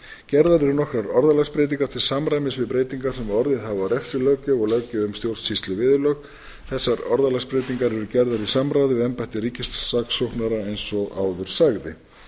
gerðar eru nokkrar orðalagsbreytingar til samræmis við breytingar sem orðið hafa á refsilöggjöf og löggjöf um stjórnsýsluviðurlög þessar orðalagsbreytingar eru gerðar í samráði við embætti ríkissaksóknara eins og áður sagði